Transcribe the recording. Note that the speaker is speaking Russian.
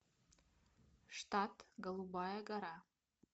штат голубая гора